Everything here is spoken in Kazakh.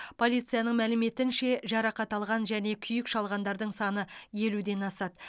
полицияның мәліметінше жарақат алған және күйік шалғандардың саны елуден асады